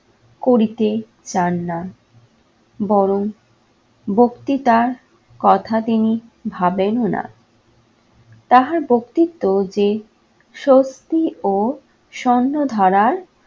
করিতে চান না, বরং বক্তিতার কথা তিনি ভাবেন না। তাহার ব্যক্তিত্ব যে সত্যি ও স্বর্ণ ধারার